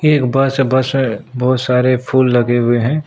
एक बस है बस है बहुत सारे फूल लगे हुए हैं।